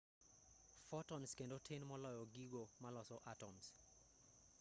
fotons kendo tin moloyo gigo maloso atoms